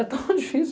É tão difícil.